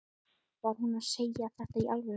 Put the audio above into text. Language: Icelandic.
Var hún að segja þetta í alvöru?